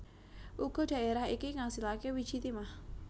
Uga dhaerah iki ngasilake wiji timah